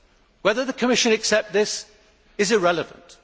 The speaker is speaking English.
Whether the Commission accepts this is irrelevant.